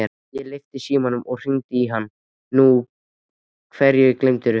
Ég lyfti símanum og hringdi í hann: Nú, hverju gleymdirðu?